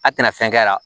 A tɛna fɛn kɛ la